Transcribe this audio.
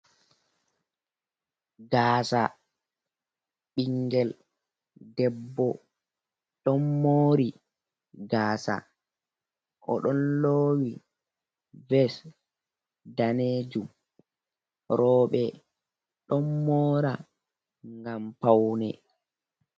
Gaasa ɓinngel debbo, don mori gaasa, o ɗon lowi ves daneejuum, rewbe ɗon mora gam paune.